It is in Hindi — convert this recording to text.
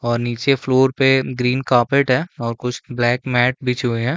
और नीचे फ्लौर पे ग्रीन कारपेट है और कुछ ब्लैक मेट बिछे हुए है।